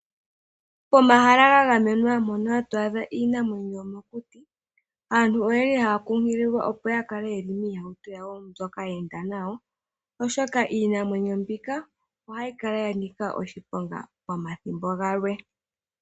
Pomahala ga gamenwa mono hatu adha iinamwenyo yomokuti, aantu oya li haa nkunkililwa opo ya kale miihauto yawo mbyoka ye enda nayo, oshoka iinamwenyo mbika ohayi kala ya nika oshiponga pomathimbo gamwe.